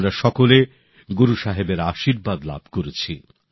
আমরা সকলে গুরু সাহেবের আশীর্বাদ লাভ করেছি